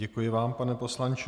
Děkuji vám, pane poslanče.